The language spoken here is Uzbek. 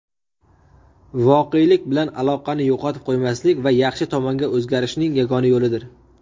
voqelik bilan aloqani yo‘qotib qo‘ymaslik va yaxshi tomonga o‘zgarishning yagona yo‘lidir.